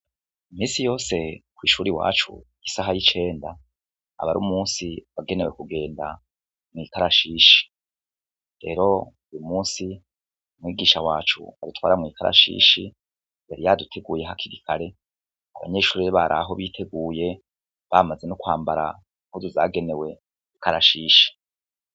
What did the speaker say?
Iminsi yose ku ishure iwacu isaha y’icenda, aba ari umunsi wagenewe kugenda mu ikarashishi, rero uyu munsi mwigisha wacu adutwara mu ikarashishi, yari yaduteguye hakiri kare, abanyeshure bari aho biteguye bamaze nonkwambara impuzu zagenewe ikarashishi.